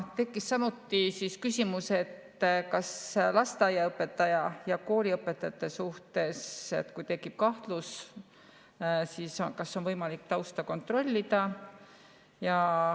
Tekkis samuti küsimus lasteaiaõpetaja ja kooliõpetaja kohta, et kui tekib kahtlus, siis kas on võimalik tausta kontrollida.